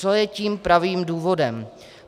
Co je tím pravým důvodem?